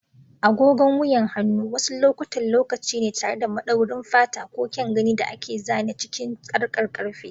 Agogon wuyan hannu wasu lokutan lokaci ne tare da madaurin fata ko kyan gani da aka zana cikin sarkar karfe.